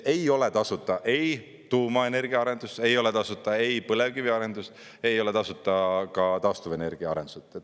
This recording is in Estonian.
Ei ole tasuta ei tuumaenergia arendus, ei ole tasuta põlevkivi arendus, ei ole tasuta ka taastuvenergia arendused.